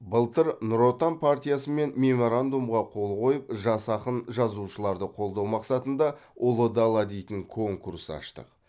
былтыр нұр отан партиясымен меморандумға қол қойып жас ақын жазушыларды қолдау мақсатында ұлы дала дейтін конкурс аштық